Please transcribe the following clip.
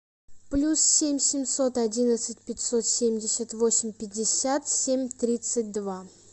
плюс семь семьсот одиннадцать пятьсот семьдесят восемь пятьдесят семь тридцать два